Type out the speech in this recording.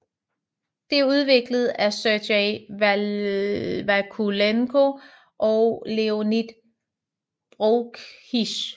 Det er udviklet af Sergey Vakulenko og Leonid Broukhis